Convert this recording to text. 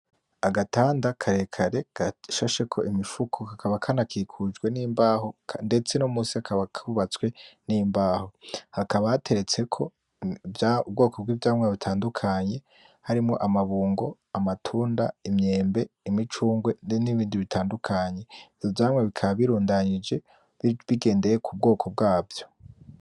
Agatanda karekare gashasheko Imifuko, kakaba kanakikujwe nimbaho, ndetse no munsi kakaba kubatswe n'imbaho ,hakaba hateretseko ivyamwa ubwoko bw'ivyamwa butandukanye, harimwo amabungo ,amatunda, Imyembe ,imicungwe n'ibindi bitandukanye .Ivyamwa bikaba birundanijwe bigendeye kubwoko bwavyo.